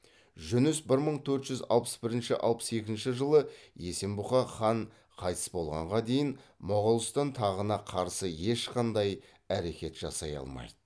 жүніс бір мың төрт жүз алпыс бірінші алпыс екінші жылы есенбұға хан қайтыс болғанға дейін моғолстан тағына қарсы ешқандай әрекет жасай алмайды